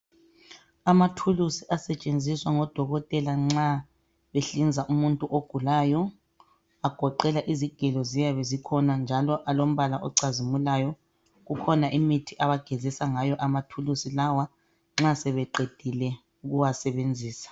Amathuluzi asetshenziswa ngodokotela nxa behlinza umuntu ogulayo agoqela izigelo ziyabe zikhona njalo alombala ocazimulayo. Kukhona imithi abagezisa ngayo amathuluzi lawa nxa sebeqedile ukuwasebenzisa.